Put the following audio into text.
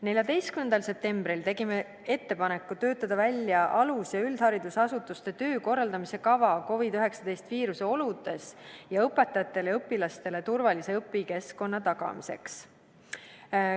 14. septembril tegime ettepaneku töötada välja alus- ja üldharidusasutuste töö korraldamise kava COVID-19 viiruse oludes ning õpetajatele ja õpilastele turvalise õpikeskkonna tagamiseks.